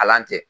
Ala tɛ